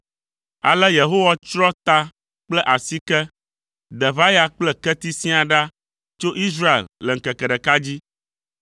Ale Yehowa tsrɔ̃ ta kple asike, deʋaya kple keti siaa ɖa tso Israel le ŋkeke ɖeka dzi.